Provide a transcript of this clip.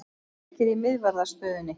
Við erum ríkir í miðvarðarstöðunni.